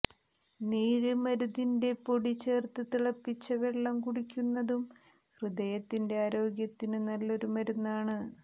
നീര് മരുതിന്റെ പൊടി ചേര്ത്ത് തിളപ്പിച്ച വെള്ളം കുടിക്കുന്നതും ഹൃദയത്തിന്റെ ആരോഗ്യത്തിന് നല്ലൊരു മരുന്നാണ്